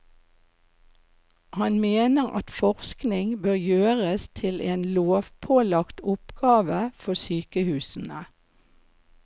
Han mener at forskning bør gjøres til en lovpålagt oppgave for sykehusene.